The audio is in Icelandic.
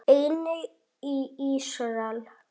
Einnig í Ísrael.